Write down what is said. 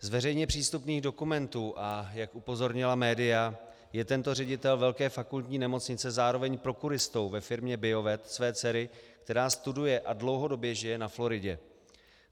Z veřejně přístupných dokumentů, a jak upozornila média, je tento ředitel velké fakultní nemocnice zároveň prokuristou ve firmě Biovet své dcery, která studuje a dlouhodobě žije na Floridě.